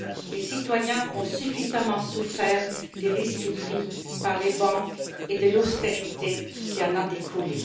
Les citoyens ont suffisamment souffert des risques pris par les banques et de l'austérité qui en a découlé.